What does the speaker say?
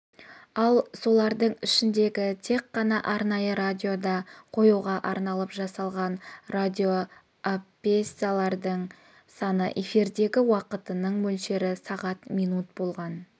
ал солардың ішіндегі тек қана арнайы радиода қоюға арналып жасалған радиопьесалардың саны эфирдегі уақытының мөлшері сағат минут болған